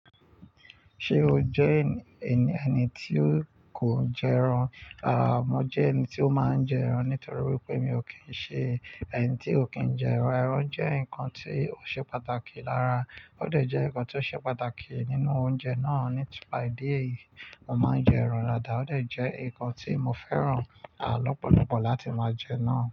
Ṣé o jẹ́ ènìyàn eni tí kò jẹ ẹran? Rárá, mo jẹ́ ẹni tí ó máa ń jẹ ẹran nítorí wípé mi ò kí ń ṣe ẹni tí ò kí ń jẹ ẹran. Ẹran jẹ́ nǹkan tí ó ṣe pàtàkì. Rárá, ó dẹ̀ jẹ́ nǹkan tí ó ṣe pàtàkì nínú oúnjẹ náà. Ní tipa ìdí èyí, mo máa ń jẹ ẹran. Dáadàa, ó dẹ̀ jẹ́ nǹkan tí mo fẹ́ràn à lọ́pọ̀lọpọ̀ láti máa jẹ náà.